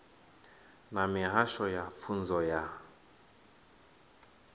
na mihasho ya pfunzo ya